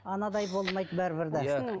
анадай болмайды бәрібір де иә